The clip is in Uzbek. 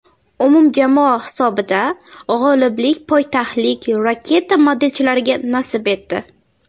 Umumjamoa hisobida g‘oliblik poytaxtlik raketa modelchilariga nasib etdi.